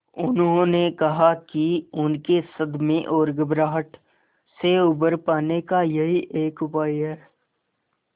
उन्होंने कहा कि उनके सदमे और घबराहट से उबर पाने का यही एक उपाय है